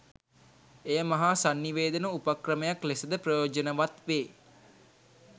එය මහා සන්නිවේදන උපක්‍රමයක් ලෙසද ප්‍රයෝජනවත් වේ.